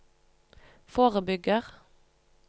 forebygger